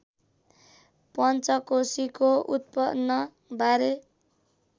पञ्चकोशीको उत्पन्न बारे